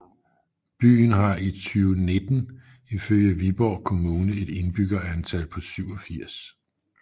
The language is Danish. Byen har i 2019 ifølge Viborg Kommune et indbyggertal på 87